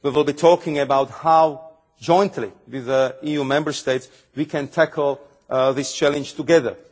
We will be talking about how, jointly with the EU Member States, we can tackle this challenge together.